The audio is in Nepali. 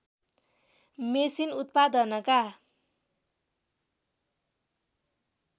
मेसिन उत्पादनका